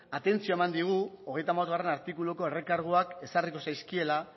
atentzioa eman digu hogeita hamabostgarrena artikuluko errekarguak ezarriko zaizkiela